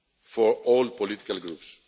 for all political groups.